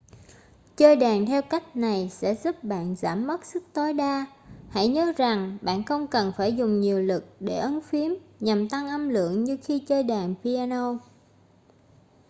chơi đàn theo cách này sẽ giúp bạn giảm mất sức tối đa hãy nhớ rằng bạn không cần phải dùng nhiều lực để ấn phím nhằm tăng âm lượng như khi chơi đàn piano